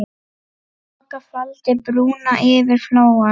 Þoka faldi brúna yfir Flóann.